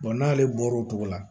n'ale bɔra o cogo la